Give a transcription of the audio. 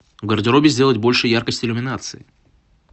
в гардеробе сделать больше яркость иллюминации